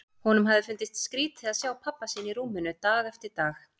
Honum hafði fundist skrítið að sjá pabba sinn í rúminu dag eftir dag.